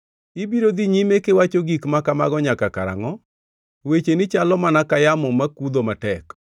“Ibiro dhi nyime kiwacho gik ma kamago nyaka karangʼo? Wecheni chalo mana ka yamo makudho matek.